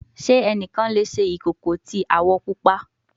Ṣe ẹnikan le ṣe ikoko ti awọ pupa